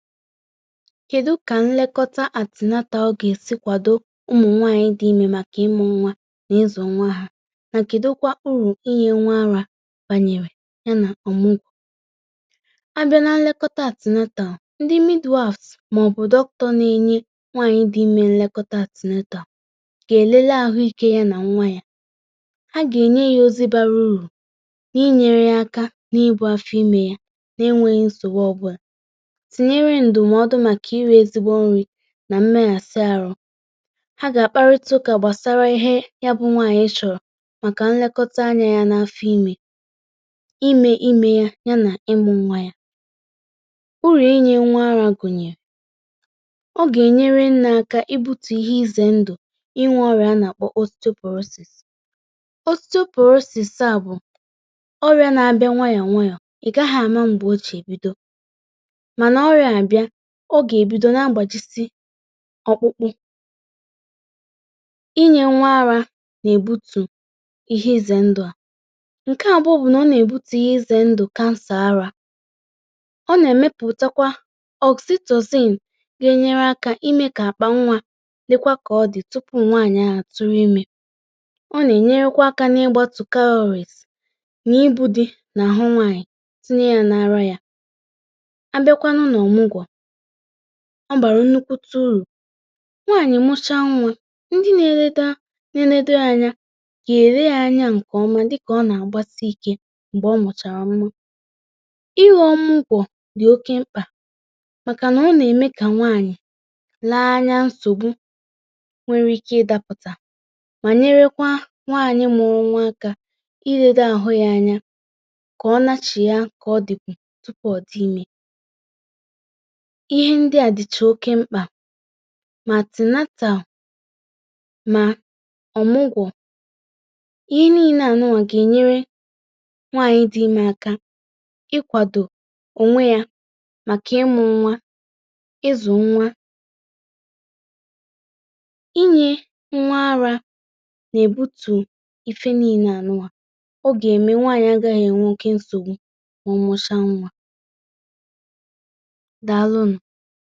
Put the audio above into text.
Kedu ka nlekọta antenatal gà-èsị kwàdo ụmụ̀ nwaànyị dị imė màkà ịmụ̇ nwa nà ịzu nwa ha, nà kèdụkwa urù̇ inyė nwa ara bànyèrè ya nà ọ̀mụgwọ̇, a bịa nà nlekọta antenatal, ndị Midwives, màọ̀bụ̀ Doctor n’enye nwaànyị dị imė nlekọta antenatal, gà èlele àhụike yȧ nà nwa yȧ, a gà ènye yȧ ozi bara urù̇ na-inyere yȧ aka n’ibu afo imė yȧ na-enwėghi nsogbu ọbụla, ntinyere ndụmọdụ na iri ezigbo nni nà mmehe si arụ, ha gà àkparịta ụkà gbàsara ihe ya bụ nwaànyị chọ̀ọ̀ màkà nlekọta anyȧ yȧ n’afọ̇ imė, imė imee ya, yȧ nà ịmụ̇ nwa yȧ, urù̇ inyė nwa ara gụ̀nyèrè, ọ gà-ènyere nne akȧ ịbutù ihe izè ndụ̀, inwė ọrịȧ nà-àkpọ.. à bụ̀, ọrịȧ na-abịa nwayọ̀ nwayọ̀, ị̀ gaghị̀ àma mgbòchì ebido, mana ọrịa a bịa, o gà-èbido na-agbàjisị ọkpụkpụ inyė nwa ara nà-èbutù ihe izè ndụ̇ à, ǹke àbuo bụ̀ nà ọ nà-èbutù ihe izè ndụ̇ cancer ara, o nà-èmepùtakwa gà-enyere akȧ imė kà àkpà nwà lekwa kà ọ dì tupu nwaànyị à tụrụ imė, ọ nà-ènyerekwa akȧ n’ịgbȧtụ calories, nà ibu di̇ nà àhụ nwaànyị̀, tinye yȧ n’ara yȧ abiakwanu na ọmụgwọ, o bàrà nnukwu ụrụ̀, nwaànyị̀ mụcha nwa ndị nȧ-ėredo nȧ-ėredo anya kà ère ya anya ǹkè ọma dịkà ọ nà-àgbasi ike m̀gbè ọ mụ̀chàrà nwa, ịghọ̇ ọmụgwọ dị̀ oke mkpà, màkànà nà-ème kà nwaànyị̀ lee anya nsògbu nwere ike ịdapụtà mà nyerekwa nwaànyị mụrụ nwa aka ịledo àhụ ya anya kà ọ nachì ya kà ọ dị̀pu tupu ọ̀ dị imė ihe ndị à dịchà oke mkpà ma antenatal ma ọmụgwọ̀ ihe niile anụwa gà-enyere nwaànyị dị̇ imè aka ịkwadọ̀ onwe ya makà ịmụ̇ nwa, ịzụ̀ nwa inyė nwa ara nà-èbutù ife niile anụnwa, ọ gà-ème nwaànyị̀ agaghị̀ enwe okė nsogbu ma ọmusia nwà, Dàlụ̀ nụ.